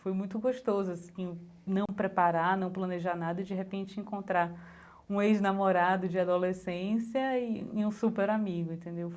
Foi muito gostoso assim, não preparar, não planejar nada, e de repente encontrar um ex-namorado de adolescência e e um super amigo, entendeu?